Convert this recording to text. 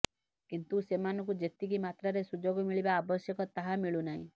କିନ୍ତୁ ସେମାନଙ୍କୁ ଯେତିକି ମାତ୍ରାରେ ସୁଯୋଗ ମିିଳିବା ଆବଶ୍ୟକ ତାହା ମିଳୁନାହିଁ